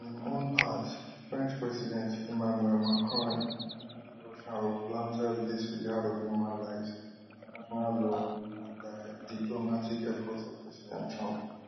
on im own part french president emmanuel macron accuse russia of blatant disregard of human lives international law and di diplomatic efforts of president trump